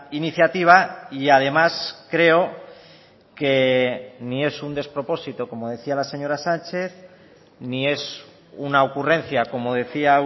iniciativa y además creo que ni es un despropósito como decía la señora sánchez ni es una ocurrencia como decía